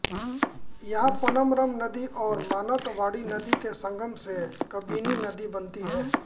यहाँ पनमरम नदी और मानंतवाड़ी नदी के संगम से कबिनी नदी बनती है